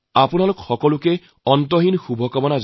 আপোনালোক সকলোকে বহুত বহুত শুভকামনা